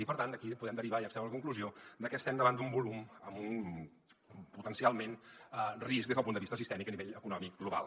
i per tant d’aquí en podem derivar i extreure la conclusió de que estem davant d’un volum amb un potencialment risc des del punt de vista sistèmic a nivell econòmic global